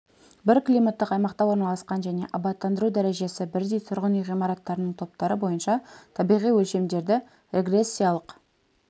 бір климаттық аймақта орналасқан және абаттандыру дәрежесі бірдей тұрғын үй ғимараттарының топтары бойынша табиғи өлшемдерді регрессиялық